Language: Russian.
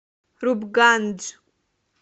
рупгандж